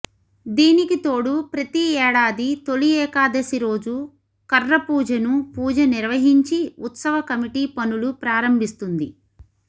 దీనికితోడు ప్రతీ ఏడాది తొలి ఏకాదశి రోజు కర్రపూజను పూజ నిర్వహించి ఉత్సవ కమిటీ పనులు ప్రారంభిస్తుంది